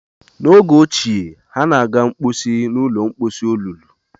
N'oge ochie, ha na-aga mposi n ụlọ mposi olulu